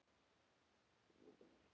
En svo fattaði ég.